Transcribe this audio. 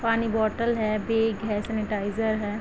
पानी बोतल है बैग है सेनिटाइज़र है।